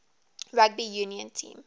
rugby union team